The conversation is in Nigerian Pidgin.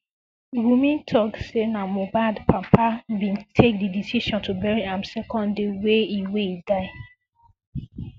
wunmi tok say na mohbad papa bin take di decision to bury am second day wey e wey e die